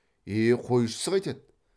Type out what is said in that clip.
е қойшысы қайтеді